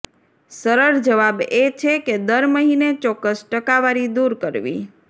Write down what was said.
સરળ જવાબ એ છે કે દર મહિને ચોક્કસ ટકાવારી દૂર કરવી